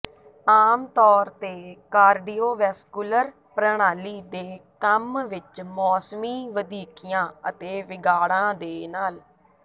ਆਮ ਤੌਰ ਤੇ ਕਾਰਡੀਓਵੈਸਕੁਲਰ ਪ੍ਰਣਾਲੀ ਦੇ ਕੰਮ ਵਿਚ ਮੌਸਮੀ ਵਧੀਕੀਆਂ ਅਤੇ ਵਿਗਾੜਾਂ ਦੇ ਨਾਲ